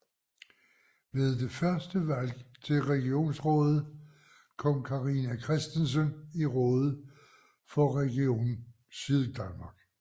Ved det første valg til regionsrådet kom Carina Christensen i rådet for Region Syddanmark